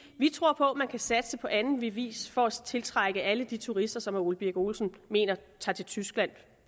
vi tror på man kan satse på anden vis for at tiltrække alle de turister som herre ole birk olesen mener tager til tyskland